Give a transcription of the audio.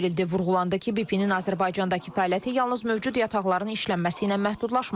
Vurğulandı ki, BP-nin Azərbaycandakı fəaliyyəti yalnız mövcud yataqların işlənməsi ilə məhdudlaşmır.